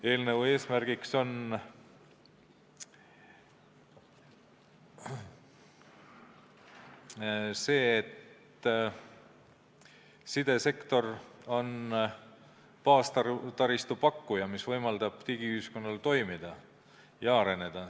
Eelnõu eesmärk on see, et sidesektor on baastaristu pakkuja, mis võimaldab digiühiskonnal toimida ja areneda.